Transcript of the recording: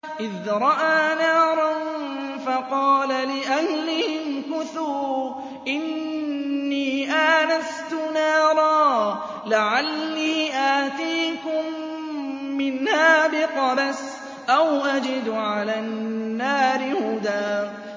إِذْ رَأَىٰ نَارًا فَقَالَ لِأَهْلِهِ امْكُثُوا إِنِّي آنَسْتُ نَارًا لَّعَلِّي آتِيكُم مِّنْهَا بِقَبَسٍ أَوْ أَجِدُ عَلَى النَّارِ هُدًى